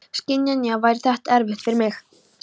Skiljanlega væri þetta erfitt fyrir mig.